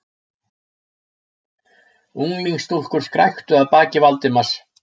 Unglingsstúlkur skræktu að baki Valdimars.